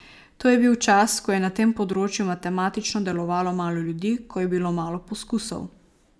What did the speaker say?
To je bil čas, ko je na tem področju matematično delovalo malo ljudi, ko je bilo malo poskusov.